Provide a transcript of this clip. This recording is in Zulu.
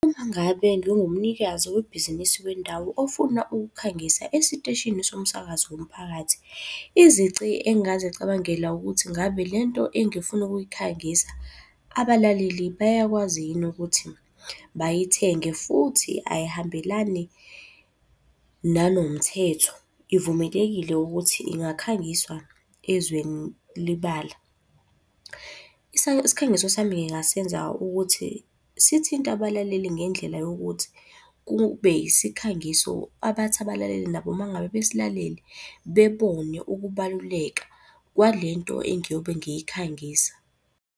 Uma ngabe ngingumnikazi webhizinisi wendawo ofuna ukukhangisa esiteshini somsakazo womphakathi, izici engingazicabangela ukuthi ngabe lento engifuna ukuyikhangisa, abalaleli bayakwazi yini ukuthi bayithenge futhi ayihambelani nanomthetho. Ivumelekile ukuthi ingakhangiswa ezweni libala. Isikhangiso sami ngingasenza ukuthi sithinte abalaleli ngendlela yokuthi kube yisikhangiso abathi abalaleli nabo uma ngabe besilalele bebone ukubaluleka kwalento engiyobe ngiyikhangisa.